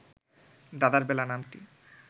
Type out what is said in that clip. দাদার বলা নামটি